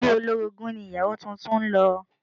Ilé olórogún ni ìyàwó tuntun ń lọ